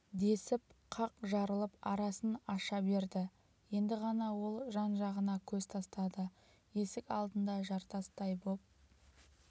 десіп қақ жарылып арасын аша берді енді ғана ол жан-жағына көз тастады есік алдында жартастай боп